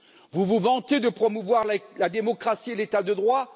Vous vous vantez de promouvoir la démocratie et l'état de droit?